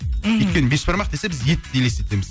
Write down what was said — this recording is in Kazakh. мхм өйткені бешбармақ десе біз етті елестетеміз